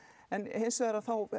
en hins vegar